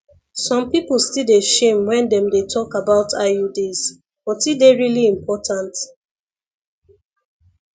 some people still dey shame when them dey talk about iuds but e dey really important